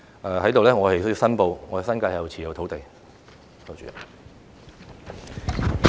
我在這裏亦要申報，我在新界持有土地。